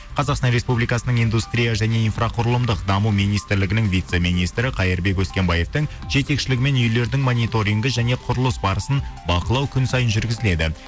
қазақстан республикасының индустрия және инфроқұрылымдық даму министрлігінің вице министрі қайырбек өскенбаевтың жетекшілігімен үйлердің маниторингі және құрылыс барысын бақылау күн сайын жүргізіледі